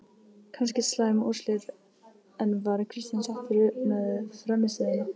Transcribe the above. Kannski slæm úrslit, en var Kristján sáttur með frammistöðuna?